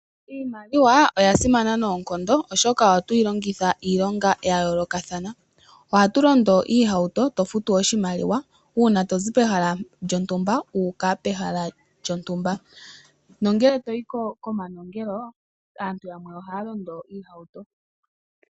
Iimaliwa oya simana noonkondo oshoka oha tuyi longitha iilonga ya yoolokathana. Ohatu londo iihauto tofutu oshimaliwa uuna tou pehala lyontumba wu uka pehala lyontumba, nongele toyi komanongelo aantu yamww ohaya londo oohauto.